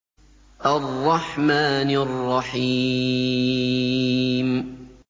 الرَّحْمَٰنِ الرَّحِيمِ